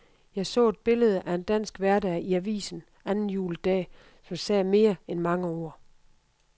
Jeg så et billede af en dansk hverdag i avisen anden juledag, som sagde mere end mange ord.